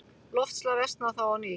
Loftslag versnaði þá á ný.